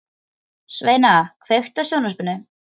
Sveina, kveiktu á sjónvarpinu.